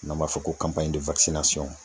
N'an b'a fɔ ko kanpanɲi de wakisinasɔn